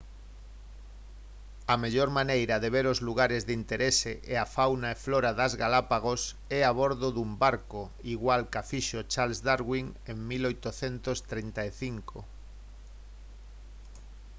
a mellor maneira de ver os lugares de interese e a fauna e flora das galápagos é a bordo dun barco igual ca fixo charles darwin en 1835